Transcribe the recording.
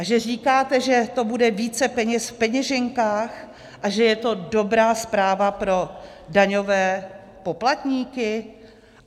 A že říkáte, že to bude více peněz v peněženkách a že je to dobrá zpráva pro daňové poplatníky?